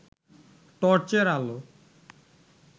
টর্চের আলো